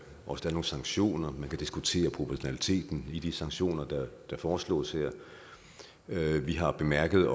og nogle sanktioner man kan diskutere proportionaliteten i de sanktioner der foreslås her vi har bemærket